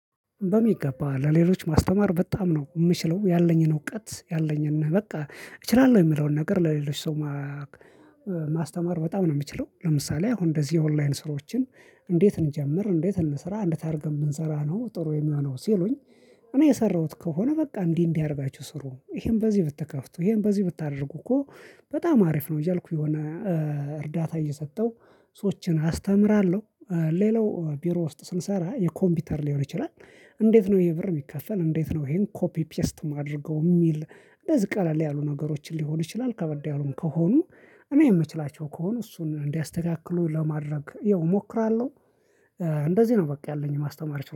በሚገባ ለሌሎች ማስተማር በጣም ነው የምችለው ያለኝን እውቀት፣ ያለኝን በቃ እችላለሁ የምለውን ነገር ለሌሎች ሰው ማስተማር በጣም ነው የምችለው ለምሳሌ አሁን እንደዚህ ኦንላይን ስራዎችን እንዴት እንጀምር፣ እንዴት እንሰራ፣ እንዴት አድርገን ብንሰራ ነው ጥሩ የሚሆነው ሲሉኝ እኔ የሰራሁት ከሆነ በቃ እንዲህ እንዲህ አድርጋችሁ ስሩ፣ ይሄን በዚህ ብትከፍቱ፣ ይሄን በዚህ ብታደርጉ እኮ በጣም አሪፍ ነው እያልኩ የሆነ እርዳታ እየሰጠው ሰዎችን አስተምራለሁ። ሌላው ቢሮ ውስጥ ስንሰራ የኮምፒውተር ሊሆን ይችላል፣ እንዴት ነው ይሄ ብር የሚከፈል እንዴት ነው ይሄን ኮፒ ፔስት ማደርገው የሚል እንደዚህ ቀለል ያሉ ነገሮችን ሊሆን ይችላል ከበድ ያሉም ከሆኑ እኔ የምችላቸው ከሆኑ እሱን እንዲያስተካክሉ ለማድረግ ያው እሞክራለሁ እንደዚህ ነው በቃ ያለኝ ማስተማር ችሎታ።